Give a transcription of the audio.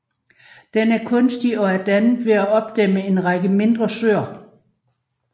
Den er kunstig og er dannet ved at opdæmme en række mindre søer